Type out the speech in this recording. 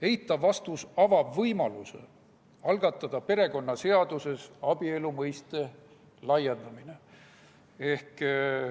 Eitav vastus avab võimaluse algatada perekonnaseaduses abielu mõiste laiendamine.